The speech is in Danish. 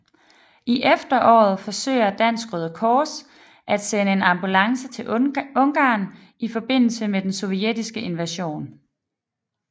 I efteråret forsøger Dansk Røde Kors at sende en ambulance til Ungarn i forbindelse med den sovjettiske invasion